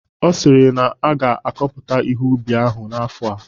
Ọ sịrị na a ga-akọpụta ihe ubi ahụ afọ a